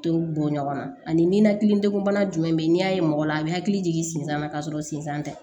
To bɔ ɲɔgɔn na ani ninakili degun bana jumɛn be yen n'i y'a ye mɔgɔ la a bɛ hakili jigin sinsan na ka sɔrɔ sensan tɛ